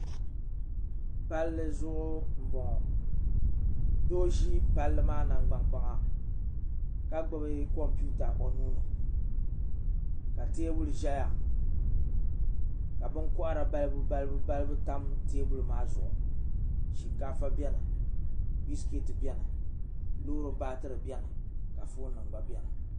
palli zuɣu n bɔŋɔ Doo ʒi palli maa nangbani kpaŋa ka gbubi kompiuta o nuuni ka teebuli ʒɛya ka binkohara balibu balibu tam teebuli maa zuɣu shinkaafa biɛni biskeeti biɛni loori baatiri biɛni ka foon nim gba biɛni